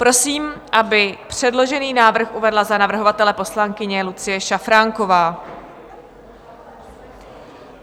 Prosím, aby předložený návrh uvedla za navrhovatele poslankyně Lucie Šafránková.